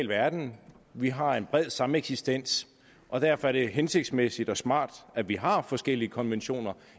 verden vi har en bred sameksistens og derfor er det hensigtsmæssigt og smart at vi har forskellige konventioner